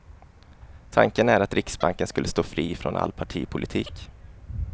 Tanken är att riksbanken skulle stå fri från all partipolitik.